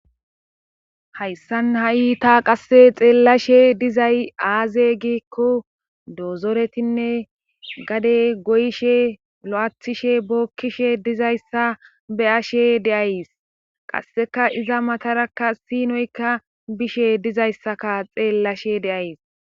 hayssan ha7i ta qasse xeellashe dizay aaze giikko doozoretinne gade goyshe lo7athishe bookkishe dizayssa be ashe deays qasseka iza matarakka siinoykka bishe dizayssaka xeellashe deays